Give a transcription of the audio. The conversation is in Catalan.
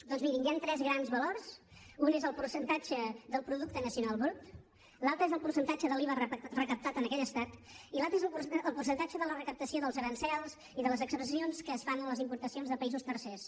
doncs mirin hi han tres grans valors un és el percentatge del producte nacional brut l’altre és el percentatge de l’iva recaptat en aquell estat i l’altre és el percentatge de la recaptació dels aranzels i de les excepcions que es fan a les importacions de països tercers